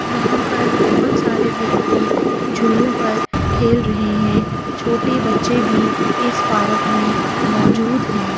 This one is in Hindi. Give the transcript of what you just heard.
यहाँ पर बहुत सारे व्यक्ति झूलो पर खेल रहे है | छोटे बच्चे भी इस पार्क में मौजूद हैं।